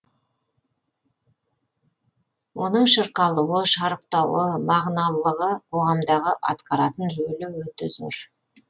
оның шырқалуы шарықтауы мағыналылығы қоғамдағы атқаратын рөлі өте зор